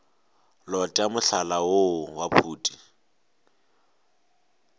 lota mohlala woo wa phuti